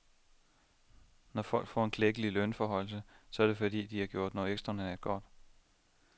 Når folk får en klækkelig lønforhøjelse, så er det fordi, de har gjort noget ekstraordinært godt.